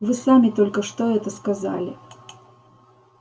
вы сами только что это сказали